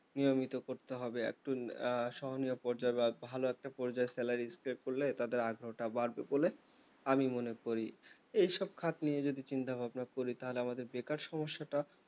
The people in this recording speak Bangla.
নিয়মিত করতে হবে একটু সোহানীয়া পর্যায়ে বা ভালো একটা পর্যায়ে salary stay করলে তাদের আগ্রহ টা বাড়বে বলে আমি মনে করি এই সব খাত নিয়ে যদি চিন্তাভাবনা করি তাহলে আমার বেকার সমস্যা টা